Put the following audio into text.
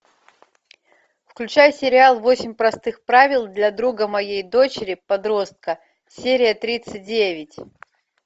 включай сериал восемь простых правил для друга моей дочери подростка серия тридцать девять